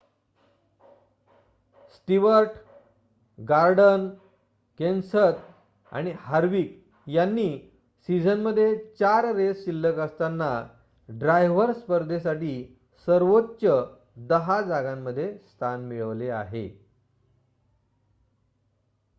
Stewart Gordon Kenseth आणि Harvick यांनी सिझनमध्ये चार रेस शिल्ल्क असताना ड्रायव्हर स्पर्धेसाठी सर्वोच्च दहा जागांमध्ये स्थान मिळवले आहे